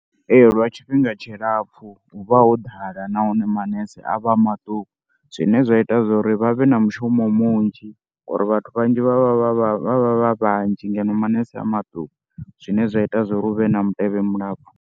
Ee, lwa tshifhinga tshilapfhu hu vha ho ḓala nahone manese a vha a maṱuku zwine zwa ita zwo ri vha vhe na mushumo munzhi ngori vhathu vhanzhi vha vha vha vha vha vha vha vhanzhi ngeno manese a maṱuku zwine zwa ita zwo ri hu vhe na mutevhe mulapfhu.